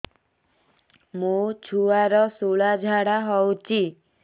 ମୋ ଛୁଆର ସୁଳା ଝାଡ଼ା ହଉଚି